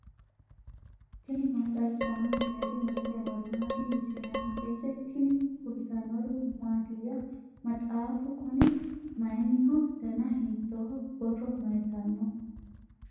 tini maa xawissanno misileeti ? mulese noori maati ? hiissinannite ise ? tini kultannori mattiya? maxxaffu kunni mayiiniho? danna hiittoho? Borro mayiittano?